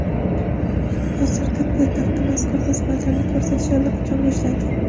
Hozirda poytaxtda mazkur xizmatlarni ko‘rsatish allaqachon boshlangan.